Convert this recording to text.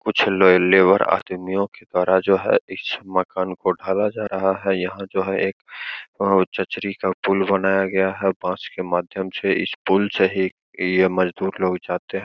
कुछ लय लेबर आदमियों के द्वारा जो है इस मकान को ढाला जा रहा है। यहाँ जो है एक चचरी का पुल बनाया गाया है। बांस के माध्यम से इस पुल से ही ये मजदुर लोग जाते है।